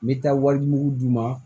Me taa walimugu d'u ma